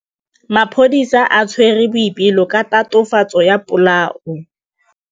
Maphodisa a tshwere Boipelo ka tatofatsô ya polaô.